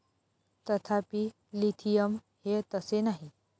तथापि, लिथियम हे तसे नाही.